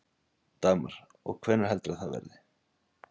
Dagmar: Og hvenær heldurðu að það verði?